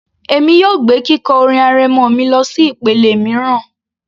Èmi yóò gbé kíkọ orin arẹmọ mi lọsí ìpele mìíràn